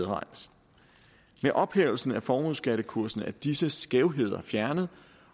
ophævelsen af formueskattekursen blev disse skævheder fjernet